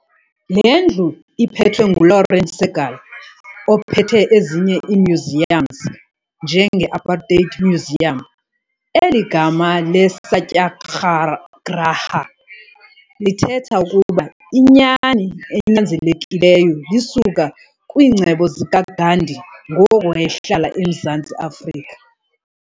Lendlu iphetwe nguLauren Segal ophethe ezinye imuseums nje nge Apartheid Museum eligama leSatyagraha letheta ukuba inyani enyanzelekileyo lisuka kwincgebo zika Gandhi ngoku wehlala eMzantsi Afrika